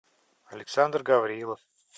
александр гаврилов